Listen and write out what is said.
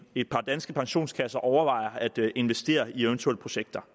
et par danske pensionskasser overvejer at investere i eventuelle projekter